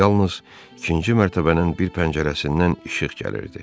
Yalnız ikinci mərtəbənin bir pəncərəsindən işıq gəlirdi.